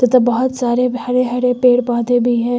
बहुत सारे हरे हरे पेड़ पौधे भी हैं।